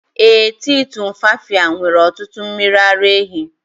Ee, tii tumfafiya nwere ọtụtụ mmiri ara ehi.